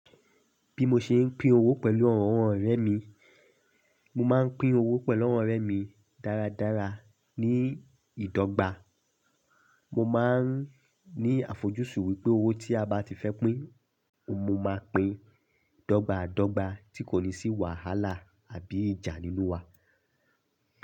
Bí mo ṣe ń pín owó pẹ̀lú àwọn ọ̀rẹ́ mi, mo máa ń pín owó pẹ̀lú àwọn ọ̀rẹ́ mi dáradára ní ìdọ́gba. Mo máa ń ní àfojúsùn wípé owó tí a bá ti fẹ́ pín, mo máa ń pín dọ́gba dọ́gba tí kò ní sí wàhálà àbí ìjà nínú wa.